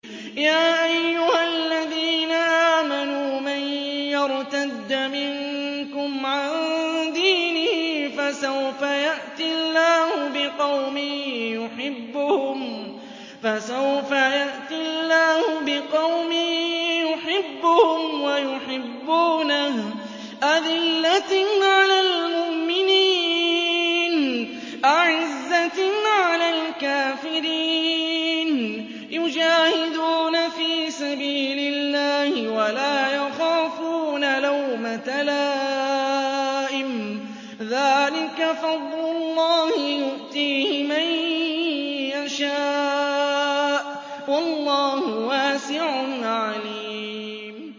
يَا أَيُّهَا الَّذِينَ آمَنُوا مَن يَرْتَدَّ مِنكُمْ عَن دِينِهِ فَسَوْفَ يَأْتِي اللَّهُ بِقَوْمٍ يُحِبُّهُمْ وَيُحِبُّونَهُ أَذِلَّةٍ عَلَى الْمُؤْمِنِينَ أَعِزَّةٍ عَلَى الْكَافِرِينَ يُجَاهِدُونَ فِي سَبِيلِ اللَّهِ وَلَا يَخَافُونَ لَوْمَةَ لَائِمٍ ۚ ذَٰلِكَ فَضْلُ اللَّهِ يُؤْتِيهِ مَن يَشَاءُ ۚ وَاللَّهُ وَاسِعٌ عَلِيمٌ